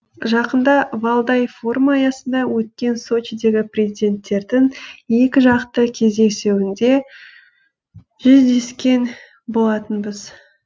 жақында валдай форумы аясында өткен сочидегі президенттердің екіжақты кездесуінде жүздескен болатынбыз